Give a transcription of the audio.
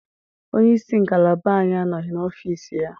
Onye isi ngalaba anyị anọghị n'ọfiisi ya